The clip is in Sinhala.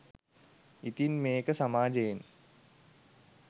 ඉතින් මේක සමාජයෙන්